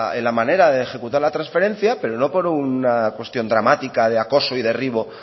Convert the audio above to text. en la manera de ejecutar la transferencia pero no por una cuestión dramática de acoso y derribo